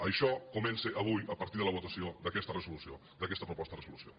això comença avui a partir de la votació d’aquesta resolució d’aquesta proposta de resolució